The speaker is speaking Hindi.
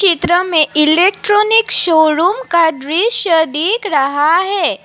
में इलेक्ट्रॉनिक शोरूम का दृश्य दिख रहा है।